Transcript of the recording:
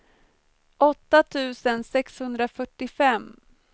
åtta tusen sexhundrafyrtiofem